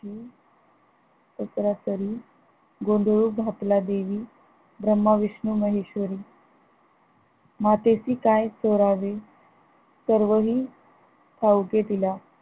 जत्रा करी गोधंळ घातला देवी ब्रम्हा विष्णू महेश्वरी मातेसी काय चोरावे सर्व हि ठाऊके तिला